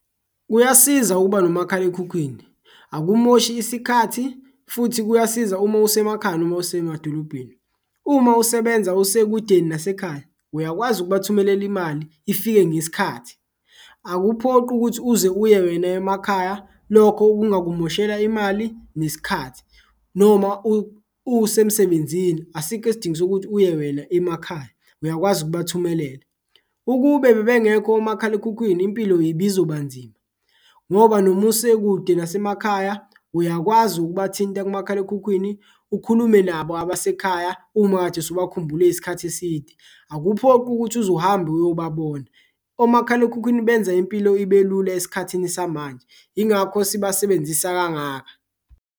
Kuyasiza ukuba nomakhalekhukhwini akumoshi isikhathi futhi kuyasiza uma usemakhaya noma usemadolobheni, uma usebenza usekudeni nasekhaya uyakwazi ukubathumelela imali ifike ngesikhathi. Akuphoqi ukuthi uze uye wena emakhaya, lokho kungakumoshela imali nesikhathi noma usemsebenzini asikho isidingo sokuthi uye wena emakhaya uyakwazi ukubathumelela. Ukube bebengekho omakhalekhukhwini impilo ibizoba nzima ngoba noma usekude nasemakhaya uyakwazi ukubathinta kumakhalekhukhwini ukhulume nabo abasekhaya, uma ukade usubakhumbule isikhathi eside akuphoqi ukuthi uzuhambe uyobabona. Omakhalekhukhwini benza impilo ibe lula esikhathini samanje ingakho sibasebenzisa kangaka.